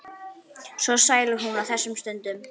Svo sæl er hún á þessum stundum.